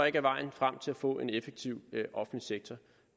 ikke er vejen frem til at få en effektiv offentlig sektor